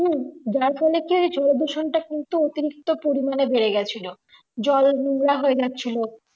হুম যার ফলে কি হয়েছে ঐদুষণটা কিন্তু অতিরিক্ত পরিমানে বেড়ে গেছিলো জল নূংরা হয়ে যাচ্ছিলো